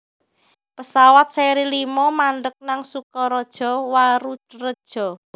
pesawat seri limo mandheg nang Sukaraja Warureja